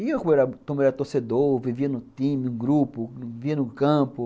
E eu também era torcedor, vivia no time, no grupo, vivia no campo.